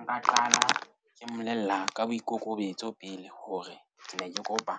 Nka qala ke mmolella ka boikokobetso pele hore ke ne ke kopa